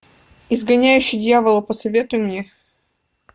изгоняющий дьявола посоветуй мне